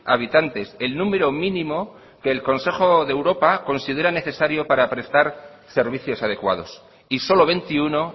habitantes el número mínimo que el consejo de europa considera necesario para prestar servicios adecuados y solo veintiuno